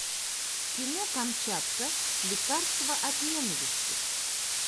кино камчатка лекарство от ненависти